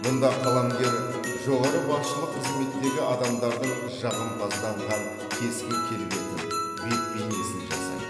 мұнда қаламгер жоғары басшылық қызметтегі адамдардың жағымпазданған кескін келбетін бет бейнесін жасайды